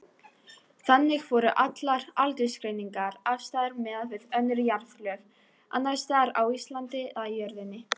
Þannig voru allar aldursgreiningar afstæðar miðað við önnur jarðlög, annars staðar á Íslandi eða jörðinni.